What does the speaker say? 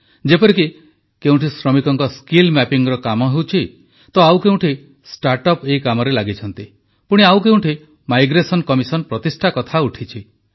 ଯେପରିକି କେଉଁଠି ଶ୍ରମିକଙ୍କ ସ୍କିଲ୍ ମ୍ୟାପିଙ୍ଗ୍ କାମ ହେଉଛି ତ କେଉଁଠ ଷ୍ଟାର୍ଟଅପ୍ ଏହି କାମରେ ଲାଗିଛନ୍ତି ପୁଣି ଆଉ କେଉଁଠି ମାଇଗ୍ରେସନ କମିଶନ ପ୍ରତିଷ୍ଠା କଥା ଉଠିଛି